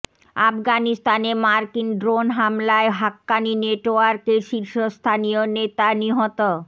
আফগানিস্তানে মার্কিন ড্রোন হামলায় হাক্কানি নেটওয়ার্কের শীর্ষস্থানীয় নেতা নিহত